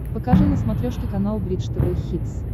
покажи на смотрешке канал бридж тв хитс